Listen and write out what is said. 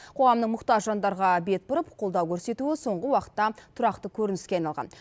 қоғамның мұқтаж жандарға бет бұрып қолдау көрсетуі соңғы уақытта тұрақты көрініске айналған